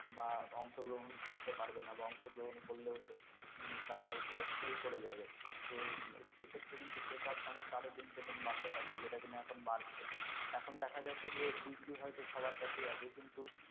বা অংশগ্রহণ করতে পারবে না বা অংশগ্রহণ করলেও তারা হয়তো fail করে যাবে তো সে ক্ষেত্রে কিন্তু বেকার সমস্যা আরও দিনকে দিন বাড়তে থাকবে যেটা কিনা এখন বাড়ছে এখন দেখা যাচ্ছে যে degree হয়তো সবার কাছেই আছে কিন্তু